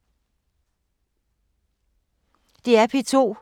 DR P2